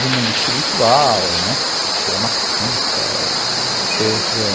do mundo espiritual, né, ele é marxista